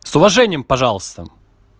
с уважением пожалуйста